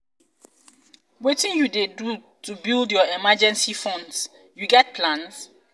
wetin you dey do to build your emergency funds you get plans?